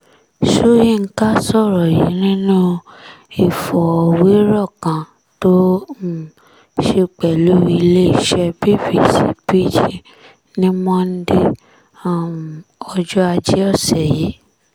soyinka sọ̀rọ̀ yìí nínú ìọ̀fọ̀wérọ̀ kan tó um ṣe pẹ̀lú iléeṣẹ́ bbc pidgin ní monde um ọjọ́ ajé ọ̀sẹ̀ yìí